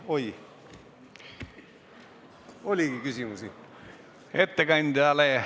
Oi, ongi küsimusi!